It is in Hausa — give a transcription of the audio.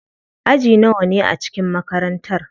Aji nawane ne a cikin makarantar?